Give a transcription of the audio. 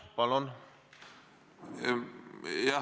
Palun!